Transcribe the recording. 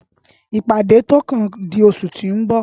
ìpàdé tó kàn di oṣù tí o nbọ